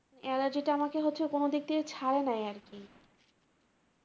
Allergy টা আমাকে হচ্ছে কোনোদিক থেকে ছারেনাই আরকি